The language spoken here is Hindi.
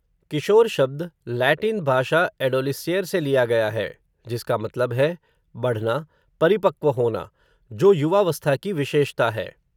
किशोर शब्द लैटिन भाषा एडोलिस्येर से लिया गया है, जिसका मतलब है- बढ़ना, परिपक्व होना, जो युवावस्था की विशेषता है.